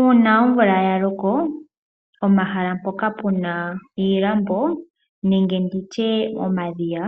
Uuna omvula ya loko pomahala mpoka puna iilambo nenge ndhitye omadhiya